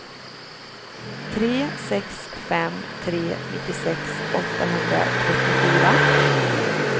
tre sex fem tre nittiosex åttahundratrettiofyra